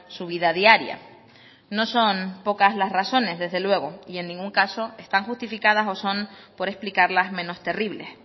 su vida diaria no son pocas las razones desde luego y en ningún caso están justificadas o son por explicarlas menos terribles